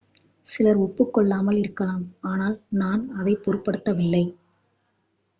"""சிலர் ஒப்புக்கொள்ளாமல் இருக்கலாம் ஆனால் நான் அதைப் பொருட்படுத்தவில்லை.